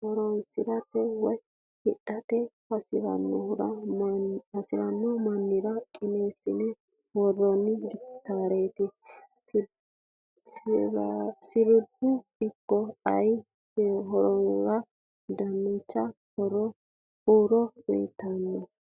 hotonsirate woyi hidhate hasiranno manira qineesinne woronni, gitarre siribaho ikko ayaname hasatora dancha huuro uuyitanno.